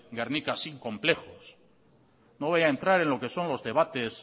gernika sin complejos no voy a entrar en lo que son los debates